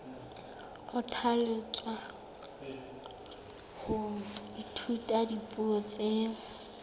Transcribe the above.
kgothalletswa ho ithuta dipuo tse